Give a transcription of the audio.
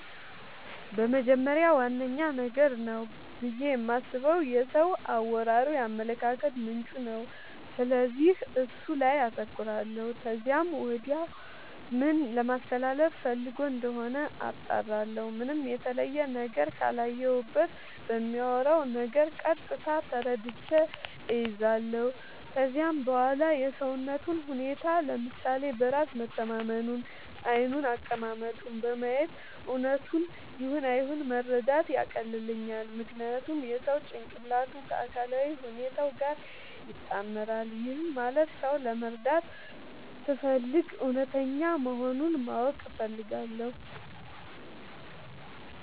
በመጀመሪያ ዋነኛ ነገር ነው ብዬ የማስበው የሰው አወራሩ የአመለካከቱ ምንጭ ነው፤ ስለዚህ እሱ ላይ አተኩራለው ከዚያም ወዲያ ምን ለማለስተላለፋ ፈልጎ እንደሆነ አጣራለሁ። ምንም የተለየ ነገር ካላየሁበት በሚያወራው ነገር ቀጥታ ተረድቼ እይዛለው። ከዚያም በዋላ የሰውነቱን ሁኔታ፤ ለምሳሌ በራስ መተማመኑን፤ ዓይኑን፤ አቀማመጡን በማየት እውነቱን ይሁን አይሁን መረዳት ያቀልልኛል። ምክንያቱም የሰው ጭንቅላቱ ከአካላዊ ሁኔታው ጋር ይጣመራል። ይህም ማለት ሰው ለመረዳት ስፈልግ እውነተኛ መሆኑን ማወቅ እፈልጋለው።